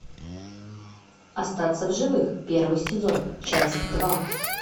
остаться в живых первый сезон часть два